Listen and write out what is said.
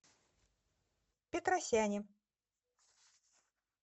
петросяне